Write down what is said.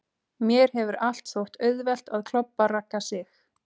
Mér hefur allt þótt auðvelt að klobba Ragga Sig.